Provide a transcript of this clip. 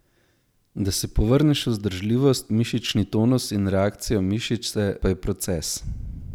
Da si povrneš vzdržljivost, mišični tonus in reakcijo mišice pa je proces.